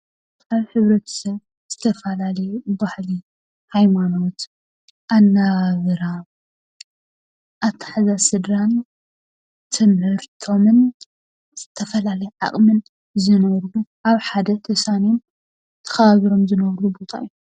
ኣብ ሕብረተሰብ ዝተፈላለዩ ባህሊ፣ ሃይማኖት ኣነባብራ ኣተሓሕዛ ስድራን ትምህርቶምን ዝተፈላለየ ዓቅሚ ዘለዎም ኣብ ሓደ ተሳንዮምን ተከባቢሮምን ዝነብሩሉ ቦታ እዩ፡፡